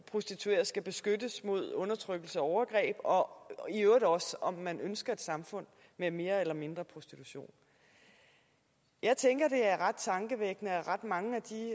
prostituerede skal beskyttes mod undertrykkelse og overgreb og i øvrigt også om man ønsker et samfund med mere eller mindre prostitution jeg tænker det er ret tankevækkende at ret mange af de